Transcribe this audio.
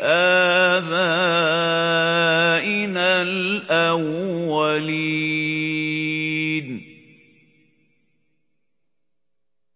آبَائِنَا الْأَوَّلِينَ